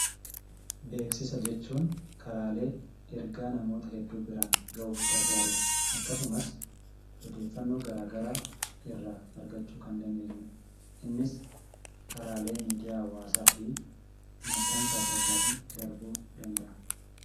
Beeksisa jechuun karaalee ergaa namoota hedduu biraan ga'uuf gargaaru dha. Akkasumas odeeffaannoo garaagaraa irraa argachuu kan dandeenyu dha. Innis karaalee miidiyaa hawaasaa fi maxxansa adda addaatiin darbuu danda'a.